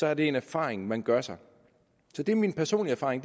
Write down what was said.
er det en erfaring man gør sig min personlige erfaring